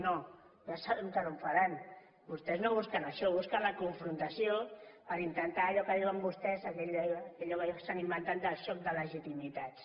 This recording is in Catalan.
no ja sabem que no ho faran vostès no busquen això busquen la confrontació per intentar allò que diuen vostès allò que s’han inventat del xoc de legitimitats